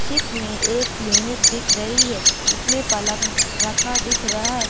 चित में एक क्लीनिक दिख रही है जिसमें पलंग रखा दिख रहा है।